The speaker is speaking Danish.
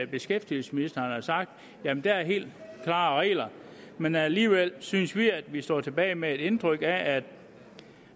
beskæftigelsesministeren har sagt at der er helt klare regler men alligevel synes vi at vi står tilbage med et indtryk af